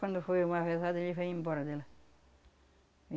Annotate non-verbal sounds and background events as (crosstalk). Quando foi uma, (unintelligible) ele veio embora dela.